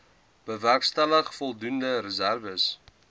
bewerkstellig voldoende reserwes